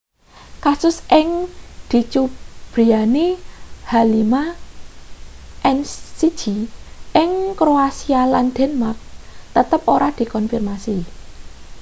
kasus sing dicubriyani h5n1 ing kroasia lan denmark tetep ora dikonfirmasi